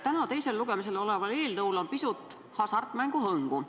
Täna teisel lugemisel oleval eelnõul on pisut hasartmängu hõngu.